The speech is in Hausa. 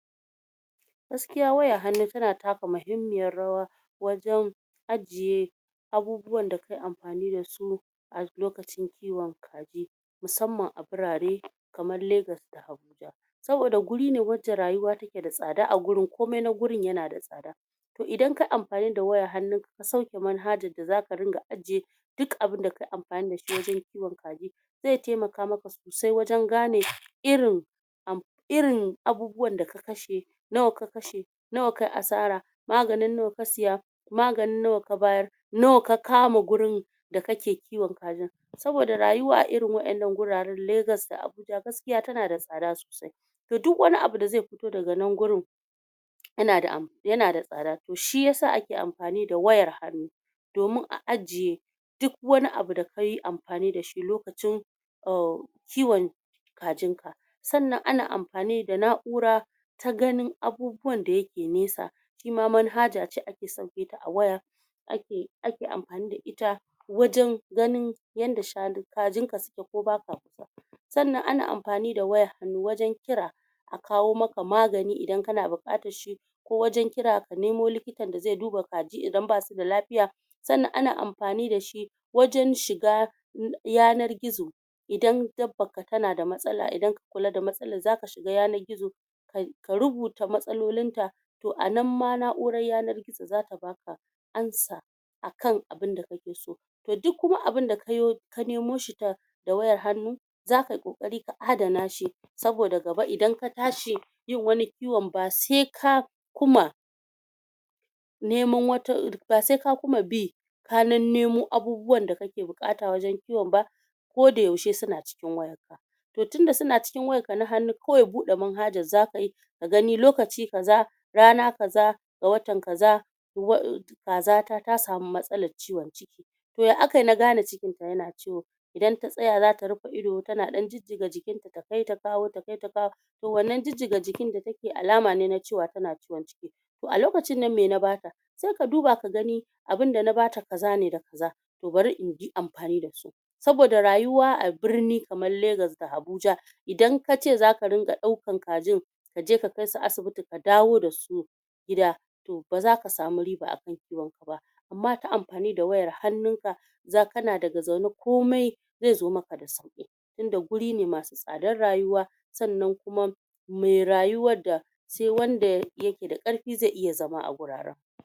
? Gaskiya wayar hannu tana taka mihimmiyar rawa,? wajan,? a jiye,? abubuwan da ka yi anfani da su,? a lokacin kiyon kaji,?? musamman a gurare,? kamar Lagos da Abuja,? saboda guri ne wacce rayuwa take da tsada a gurin, kumai na gurin ya na da tsada.? To idan kayi amfani da wayar hannun ka, kusan kamar hajar da zaka ringa aje,? duk abunda ka yi amfani da shi wajan kiyon kaji,? zai taimaka maka,? sosai wajan gane irin,? irin,? am,? irin abubuwan da kakshe,? nawa ka kashe?? nawa ka yi asara?? magani na nawa ka saya?? maganin nawa ka bayar?? nawa ka kama gurin,? da kake kiwon kajin?? saboda rayuwa a irin waɗannan guraran, Lagos da A buja, gaskiya tana da tsada sosai,? da duk wani abu da zai fito daga wannan gurin,? ya na da am, ya na da tsada, to shi yasa ake amfani da wayar hannu,? domin a ajiye,? duk wani abu da kayi amfani dashi lokacin,? kiwon,? kajin ka.? Sannan a na amfani da na'ura,? ta ganin abubuwan da yake nesa,? itama manhaja ce da ake sauketa a waya,? ake amfani da ita,? wajan ganin, yadda shanun, kajin ka suke ko baka kusa.? Sannan a na amfani da wayar hannu wajan kira,? a kawo maka magani idan kana bukatar shi,? ko wajan kira ka nemo likitan da zai duba kaji idan basuda lafiya,? sannan a na amfani da shi, / wajan shiga,? yanar gizo,? idan dabbarka ta na da matsala, idan ka kula da matsalar za ka shiga yanar gizo,? ka rubuta matsalolin ta,? a nan ma na'urar yanar gizo zata baka,? ansa,? akan abunda ka ke so.? To duk kuma abunda ka yo, ka nemo shi ta,? da wayar hannu,? zakayi kokari ka adana shi? saboda gaba idan ka tashi,? yin wani kiyon ba sai ka, kuma,? neman wata, ba sai ka kuma bi,? ka nennemo abubuwan da kake buƙata wajan kiyon ba,? kodayaushe suna cikin wayar ka,? to tunda suna cikin wayar ka na hannu, kawai bude manhajar zakayi,? ka gani lokaci kaza,? rana kaza,? ga watan kaza,? kaza ta ta samu matsalar ciwon ciki,? to ya aka yi na gane cikinta ya na ciwo?? idan ta tsaya zata rufe ido ta na ɗan jijjiga jikin ta? ta kai ta kawo, ta kai ta kawo,? to wannan jijjiga jikin da ta keyi alamace na cewa cikin ta na ciwo? to a lokacin nan me na bata?? sai ka duba ka gani,? abunda na bata kaza ne da kaza,? to bari in bi amfani da su.? Saboda rayuwa a birnin kamar Lagos da Abuja,? idan kace zaka riƙa ɗaukan kajin,? kaje ka kai su asibiti ka dawo da su,? gida,? to baza ka samu riba a kan kiwon ka ba? amma ta amfani da wayar hannunka,? za kana daga zaune, komai,? zai zo maka da sauki? tunda guri ne masu tsadar rayuwa.? Sannan kuma,? mai rayuwar da,? sai wanda ya ke da ƙarfi zai iya zama a wuraren